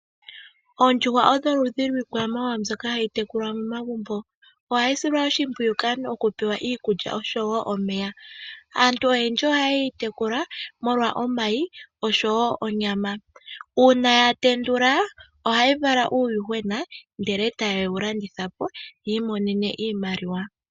Oondjuhwa odho oludhi lwiikwamawawa mbyoka hayi tekulwa momagumbo. Ohayi silwa oshimpwiyu kaantu okupewa iikulya, osho wo omeya. Aantu oyendji ohaye yi tekula molwa omayi, osho wo onyama. Uuna ya tendula, ohayi vala uuyuhwena ndele taye wu landitha po, yi imonene iimaliwa.